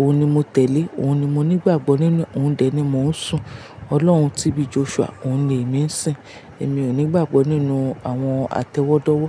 òun ni mo tẹ̀lé. Òun ni mo nígbàgbọ́ nínú, òun dẹ̀ ni mò ń sùn. Ọlọ́run tíbí Joshua, òun ni èmi ń sìn. Èmi ò nígbàgbọ́ nínú àwọn atẹ́wọ́dọ́wọ́